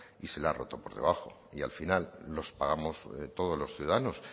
y se le ha roto por debajo y al final los pagamos todos los ciudadanos